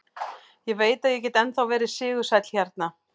Ég veit að ég get ennþá verið sigursæll hérna.